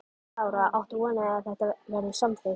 Lára: Áttu von á því að þetta verði samþykkt?